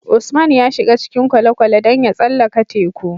Usman ya shiga cikin kwale kwale dan ya tsallaka teku